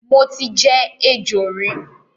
Mo ti jẹ ejò rí